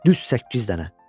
Düz səkkiz dənə.